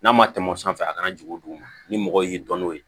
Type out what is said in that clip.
N'a ma tɛmɛ o sanfɛ a kana jigin dugu ma ni mɔgɔ y'i dɔn n'o ye